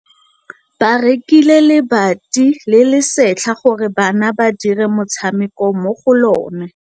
Ba rekile lebati le le setlha gore bana ba dire motshameko mo go lona.